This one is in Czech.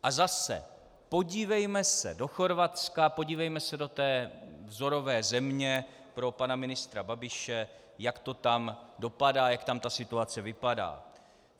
A zase - podívejme se do Chorvatska, podívejme se do té vzorové země pro pana ministra Babiše, jak to tam dopadá, jak tam ta situace vypadá.